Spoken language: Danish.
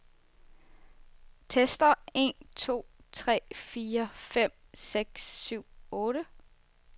Tester en to tre fire fem seks syv otte.